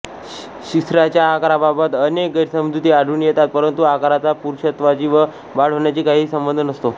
शिश्नाच्या आकाराबाबत अनेक गैरसमजुती आढळून येतात परंतु आकाराचा पुरुषत्वाशी व बाळ होण्याशी काहीही संबंध नसतो